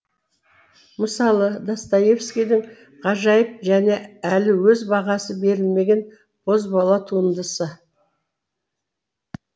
мысалы достоевскийдің ғажайып және әлі өз бағасы берілмеген бозбала туындысы